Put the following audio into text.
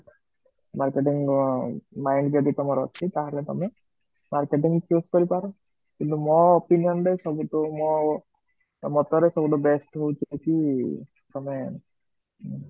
marketing ଅ mind ଯଦି ତମର ଅଛି ତାହାଲେ ତମେ ମାର୍କେଟିଙ୍ଗ choose କରି ପର କିନ୍ତୁ ମୋ opinion ରେ ସବୁଠୁ ମୋ ମତରେ ସବୁଠୁ best ହୋଉଛି ତମେ ମଃ